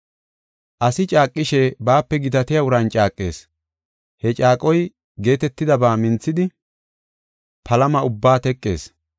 Asi caaqishe baape gitatiya uran caaqees; he caaqoy geetetidaba minthidi, palama ubbaa teqees.